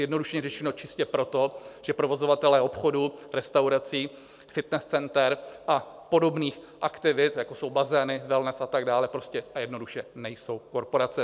Zjednodušeně řečeno, čistě proto, že provozovatelé obchodů, restaurací, fitness center a podobných aktivit, jako jsou bazény, wellness a tak dále, prostě a jednoduše nejsou korporace.